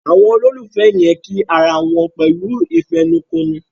Àwọn ololufẹ yen kí àrà wón pẹ̀lú ìfẹnukonu.